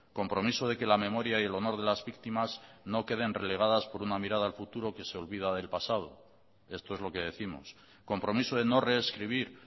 compromiso de que la memoria y el honor de las víctimas no quede relegadas en una mirada al futuro que se olvida del pasado esto es lo que décimos compromiso de no reescribir